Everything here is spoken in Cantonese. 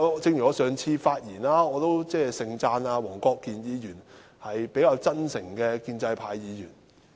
正如我上次在發言中，都盛讚黃國健議員是比較真誠的建制派議員。